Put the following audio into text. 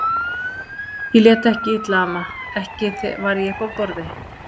Ég lét ekki illa amma, ekki var ég uppi á borði